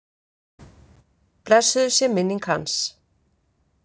Blessuð sé minning hans.